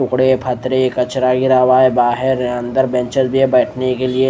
उखड़े फतरे कचरा गिरा हुआ हैं बाहर अंदर बेंचेस भी है बैठने के लिए।